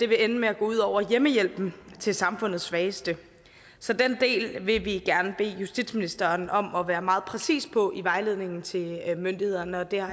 vil ende med at gå ud over hjemmehjælpen til samfundets svageste så den del vil vi gerne bede justitsministeren om at være meget præcis på i vejledningen til myndighederne det har